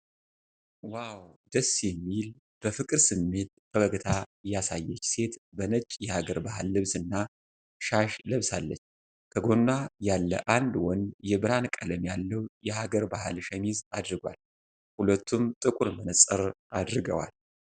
ዋው፣ ደስ የሚል! በፍቅር ስሜት ፈገግታ ያሳየች ሴት በነጭ የሐገር ባህል ልብስና ሻሽ ለብሳለች። ከጎኗ ያለ አንድ ወንድ የብርሃን ቀለም ያለው የሐገር ባህል ሸሚዝ አድርጓል፤ ሁለቱም ጥቁር መነፅር አድርገዋል።